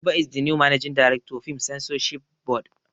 Abba is the new managing director, film censorship board.